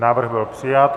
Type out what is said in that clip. Návrh byl přijat.